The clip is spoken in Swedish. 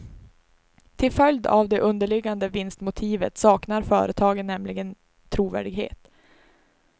Till följd av det underliggande vinstmotivet saknar företagen nämligen trovärdighet.